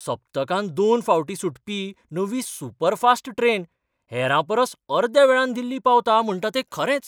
सप्तकांत दोन फावटीं सुटपी नवी सुपरफास्ट ट्रेन हेरांपरस अर्द्या वेळान दिल्ली पावता म्हणटा तें खरेंच?